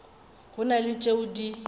go na le tšeo di